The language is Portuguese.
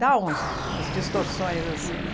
Dá um umas distorções assim, né?